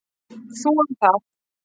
Þú um það.